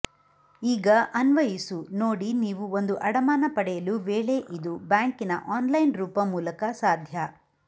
ಈಗ ಅನ್ವಯಿಸು ನೋಡಿ ನೀವು ಒಂದು ಅಡಮಾನ ಪಡೆಯಲು ವೇಳೆ ಇದು ಬ್ಯಾಂಕಿನ ಆನ್ಲೈನ್ ರೂಪ ಮೂಲಕ ಸಾಧ್ಯ